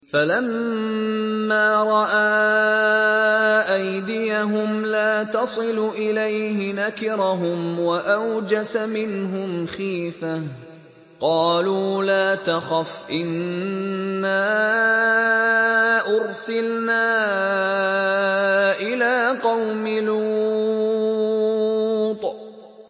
فَلَمَّا رَأَىٰ أَيْدِيَهُمْ لَا تَصِلُ إِلَيْهِ نَكِرَهُمْ وَأَوْجَسَ مِنْهُمْ خِيفَةً ۚ قَالُوا لَا تَخَفْ إِنَّا أُرْسِلْنَا إِلَىٰ قَوْمِ لُوطٍ